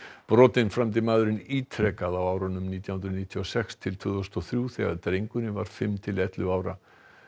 brotin framdi maðurinn ítrekað á árunum nítján hundruð níutíu og sex til tvö þúsund og þrjú þegar drengurinn var fimm til ellefu ára